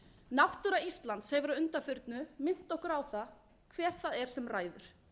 náttúra íslands hefur að undanförnu minnt okkur á það hver það er sem ræður